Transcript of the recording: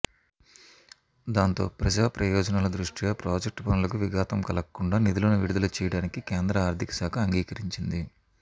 దాంతో ప్రజాప్రయోజనాల దృష్ట్యా ప్రాజెక్టు పనులకు విఘాతం కలగకుండా నిధులను విడుదల చేయడానికి కేంద్ర ఆర్థిక శాఖ అంగీకరించింది